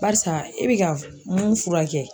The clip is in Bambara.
Barisa e bɛ ka mun fura kɛ.